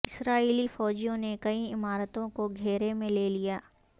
اسرائیلی فوجیوں نے کئی عمارتوں کو گھیرے میں لے لیا